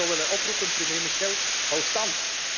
aankunnen. En ik zou willen oproepen, premier Michel